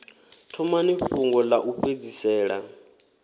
thomani fhungo ḽa u fhedzisela